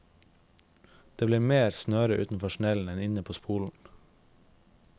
Det blir mer snøre utenfor snellen enn inne på spolen.